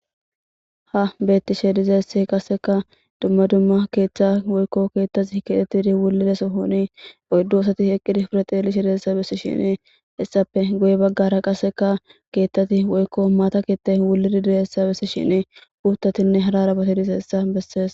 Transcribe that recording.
Ha beettishe dizeesse qaseka dumma dumma keeththa woykko keettati keetettidi wulidesohoni oyddu osati eqqidi furaxeeli she deessa bessi shini issape goye baggara qaseka keethtati woykko maata ketta wulidi dizayssa bessishini puuttatinne hadarabati dizeessa bessees.